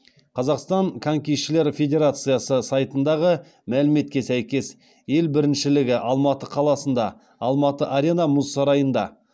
қазақстан конькишілер федерациясы сайтындағы мәліметке сәйкес ел біріншілгі алматыда қаласында алматы арена мұз сарайында